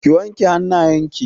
Ki wanke hannayen ki!